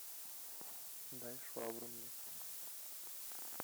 дай швабру мне